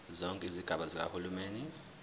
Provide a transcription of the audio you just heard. zonke izigaba zikahulumeni